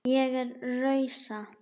Ég rausa.